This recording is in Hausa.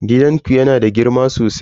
Gidanku yana da girma sosai?